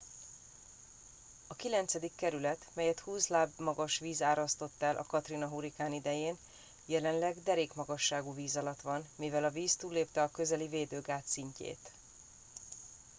a kilencedik kerület melyet 20 láb magas víz árasztott el a katrina hurrikán idején jelenleg derékmagasságú víz alatt van mivel a víz túllépte a közeli védőgát szintjét